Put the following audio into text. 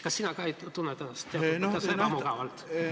Kas ka sina tunned ennast natuke ebamugavalt?